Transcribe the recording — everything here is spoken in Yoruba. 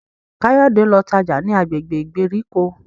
Kayode ló tájá ní agbègbè ìgbèríko.